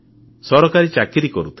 ସରକାରୀ ଚାକିରି କରୁଥିଲେ